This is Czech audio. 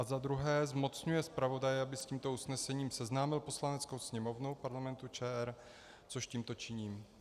A za druhé, zmocňuje zpravodaje, aby s tímto usnesením seznámil Poslaneckou sněmovnu Parlamentu ČR, což tímto činím.